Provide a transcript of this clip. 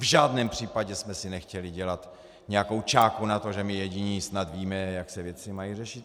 V žádném případě jsme si nechtěli dělat nějakou čáku na to, že my jediní snad víme, jak se věci mají řešit.